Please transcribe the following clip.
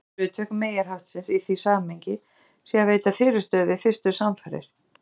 Segja má að hlutverk meyjarhaftsins í því samhengi sé að veita fyrirstöðu við fyrstu samfarir.